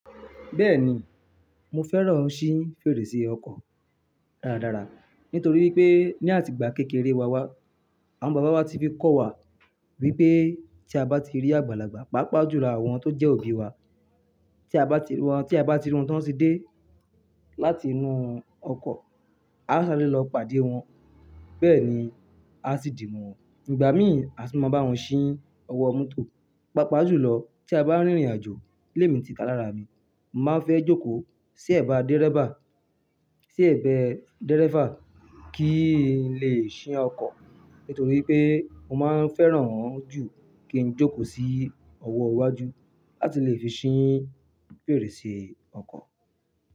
Bẹ́ẹ̀ni, mo fẹ́ràn ṣí fèrèsé ọkọ̀ dáradára nítorí pé ní àtìgbà kékeré wa wá, àwọn bàbá wa ti fi kọ́ wa wípé tí a bá ti rí àgbàlagbà, pàápàá jùlọ àwọn tó jẹ́ òbí wa tí a bá ri wọ́n, tí a bá ri run tí wọ́n ti dé láti inú ọkọ̀, a o ṣàré lọ pàdé wọn. Bẹ́ẹ̀ni àó sì di mọ́ wọn. Ìgbà mìí àtún ma wọn ṣí ọwọ́ mọ́tò pàápàá jùlọ tía bá rìn ìrìn àjò lé mi ti ta lára mi mo ma fẹ́ jókò sí ẹ̀bá dérébà sí ẹ̀gbẹ́ dírẹ́fà kín lè ṣí ọkọ̀ nítorí pé mo máa ń fẹ́ràn wọ́n jù kí n jókòó sí ọwọ́ iwájú láti lè fi ṣí fèrèsé ọkọ̀.